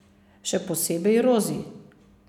Še posebej Rozi.